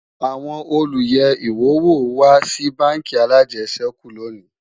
àwọn olú yé iwọ wò wà Si bánkì alàjesèkú lóni